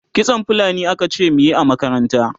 kitson fulani akace muyi a makaranta